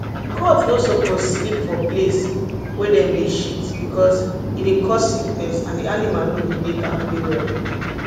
goat no suppose sleep for place wey dem dey shit because e dey cause sickness and the animal no go dey dey kampe well